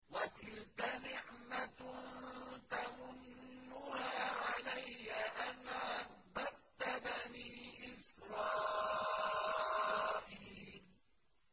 وَتِلْكَ نِعْمَةٌ تَمُنُّهَا عَلَيَّ أَنْ عَبَّدتَّ بَنِي إِسْرَائِيلَ